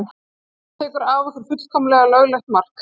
Hann tekur af okkur fullkomlega löglegt mark.